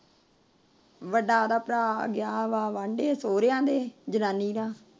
ਵੱਡਾ ਉਹਦਾ ਭਰਾ ਗਿਆ ਵਾਂਢੇ ਸੋਹਰਿਆਂ ਦੇ ਗਿਆ ਜਨਾਨੀ ਦਾ